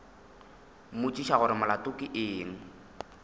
mmotšiša gore molato ke eng